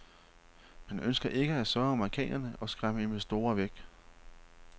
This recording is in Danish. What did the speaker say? Man ønsker ikke at såre amerikanerne og skræmme investorer væk.